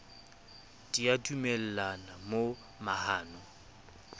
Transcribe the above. di a dumellana mo mahano